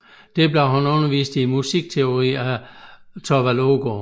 Der blev han undervist i musikteori af Thorvald Aagaard